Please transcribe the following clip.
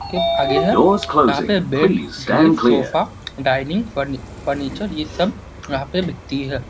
के आगे है यहाँ पे बेड ड्रिफ सोफा डाइनिंग फ़र्नी फर्नीचर ये सब यहाँ पे बिकती है।